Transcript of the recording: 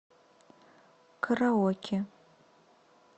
караоке